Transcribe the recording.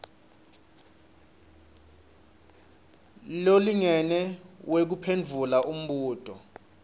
lolingene wekuphendvula umbuto